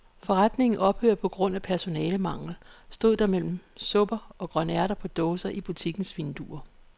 Forretningen ophører på grund af personalemangel, stod der mellem supper og grønærter på dåse i butikkens vindue.